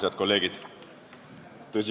Head kolleegid!